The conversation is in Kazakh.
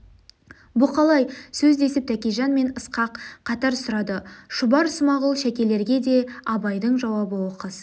бұ қалай сөз десіп тәкежан мен ысқақ қатар сұрады шұбар смағұл шәкелерге де абайдың жауабы оқыс